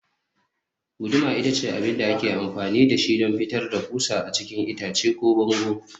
guduma ita ce abin da ake amfani da shi don fitar da ƙusa a cikin itace ko bango